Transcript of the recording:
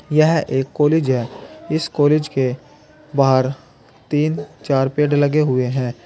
यह एक कालेज है इस कालेज के बाहर तीन चार पेड़ लगें हुये हैं।